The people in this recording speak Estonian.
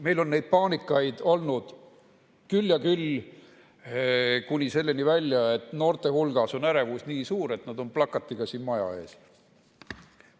Meil on neid paanikaid olnud küll ja küll, kuni selleni välja, et noorte hulgas on ärevus nii suur, et nad on plakatiga siin maja ees.